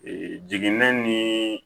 jiginɛ ni